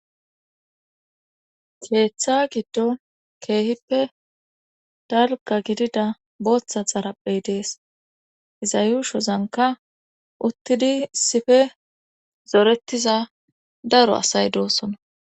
keeththa giddo keehippe dalga gidida booththa xaraphey dees iza yushozanka uttidi issippe zoretiza daro asay doosona